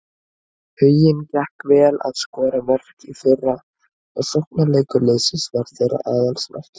Huginn gekk vel að skora mörk í fyrra og sóknarleikur liðsins var þeirra aðalsmerki.